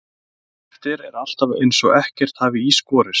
Daginn eftir er alltaf eins og ekkert hafi í skorist.